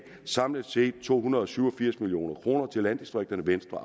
samlet set gav to hundrede og syv og firs million kroner til landdistrikterne venstre